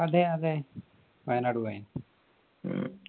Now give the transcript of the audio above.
അതെ അതെ വയനാട് പോയ്ന്